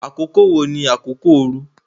Àkókò wo ni àkókò ooru?